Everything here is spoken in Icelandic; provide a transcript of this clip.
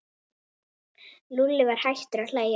Lúlli var hættur að hlæja.